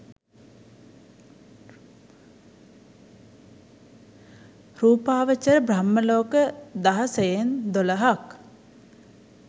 රූපාවචර බ්‍රහ්මලෝක දහසයෙන් දොළහක්.